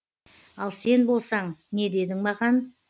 ал сен болсаң не дедің маған